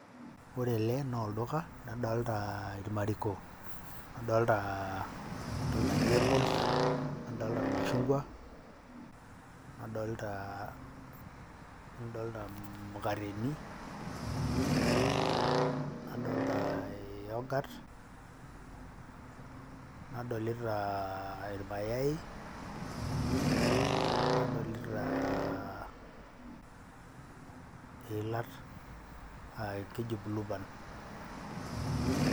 Ore ele naa oldoka, nadolta irmariko, nadolta entoki naji apples, nadolta irmashungwa, nadolta nadolta imukateni, nadolta ee youghurt, nadolita aa irmayai, nadolita iilat keji blueband.